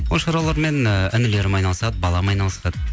ол шаруалармен ііі інілерім айналысады балам айналысады